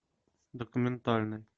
документальный